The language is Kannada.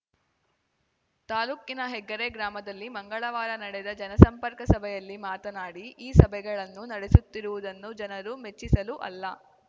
ತಾಲೂಕಿನ ಹೆಗ್ಗರೆ ಗ್ರಾಮದಲ್ಲಿ ಮಂಗಳವಾರ ನಡೆದ ಜನಸಂಪರ್ಕ ಸಭೆಯಲ್ಲಿ ಮಾತನಾಡಿ ಈ ಸಭೆಗಳನ್ನು ನಡೆಸುತ್ತಿರುವುದನ್ನು ಜನರನ್ನು ಮೆಚ್ಚಿಸಲು ಅಲ್ಲ